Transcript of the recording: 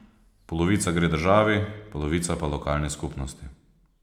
Polovica gre državi, polovica pa lokalni skupnosti.